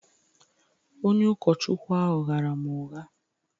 Onye ụkọchukwu ahụ ghaara m ụgha